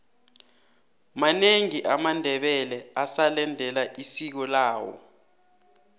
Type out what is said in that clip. manengi amandebele asalendela isiko lawo